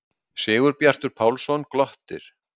Sigurbjartur Pálsson glottir.